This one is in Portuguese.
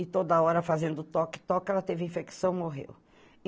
E toda hora fazendo toque, toque, ela teve infecção e morreu.